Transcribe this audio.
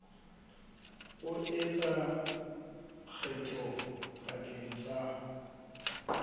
o etsa kgetho pakeng tsa